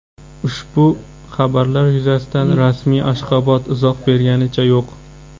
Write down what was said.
Ushbu xabarlar yuzasidan rasmiy Ashxobod izoh berganicha yo‘q.